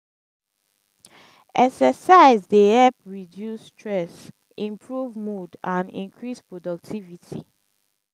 exercise dey help reduce stress improve mood and increase productivity.